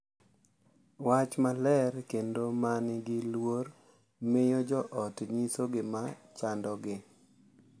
Wach maler kendo ma nigi luor miyo jo ot nyiso gik ma chandogi